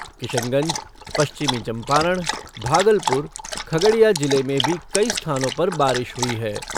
किशनगंज, पश्चिमी चंपारण, भागलपुर, खगडिया जिले में भी कई स्थानों पर बारिश हुई है।